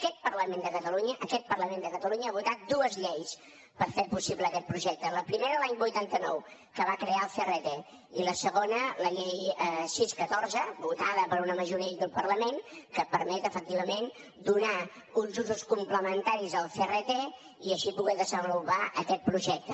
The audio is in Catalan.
aquest parlament de catalunya aquest parlament de catalunya ha votat dues lleis per fer possible aquest projecte la primera l’any vuitanta nou que va crear el crt i la segona la llei sis catorze votada per una majoria aquí al parlament que permet efectivament donar uns usos complementaris al crt i així poder desenvolupar aquest projecte